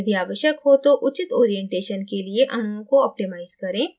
यदि आवश्यक हो तो उचित orientation के लिए अणुओं को optimize करें